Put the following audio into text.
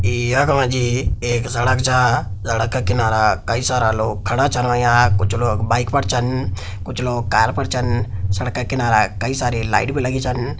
ए-यख मा जी एक सड़क छा सड़क किनारा कई सारा लोग खड़ा छन होयों कुछ लोग बाइक पर छन कुछ लोग कार पर छन सड़क किनारा कई सारा लाइट भी लगीं छन।